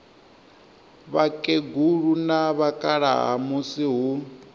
vhakegulu na vhakalaha musi hu